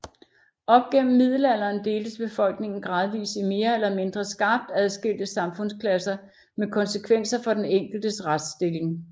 Op gennem middelalderen deltes befolkningen gradvis i mere eller mindre skarpt adskilte samfundsklasser med konsekvenser for den enkeltes retsstilling